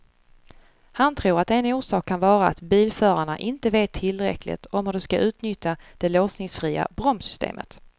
Han tror att en orsak kan vara att bilförarna inte vet tillräckligt om hur de ska utnyttja det låsningsfria bromssystemet.